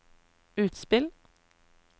utspill